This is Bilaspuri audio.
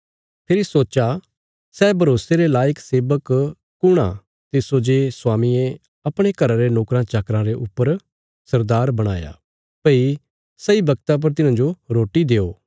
फेरी सोच्चा सै भरोसे रे लायक सेबक कुण आ तिस्सो जे स्वामिये अपणे घरा रे नोकराँचाकराँ रे ऊपर सरदार बणाया भई सही बगता पर तिन्हांजो रोटी देयो